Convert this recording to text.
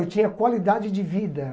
Eu tinha qualidade de vida.